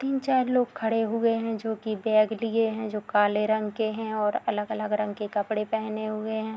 तीन-चार लोग खड़े हुए हैं जो की बैग लिए हैं जो काले रंग के है और अलग-अलग रंग के कपड़े पेहने हुए है |